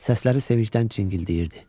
Səsləri sevinçdən cingildəyirdi.